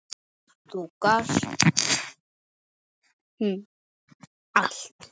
Þú gast allt!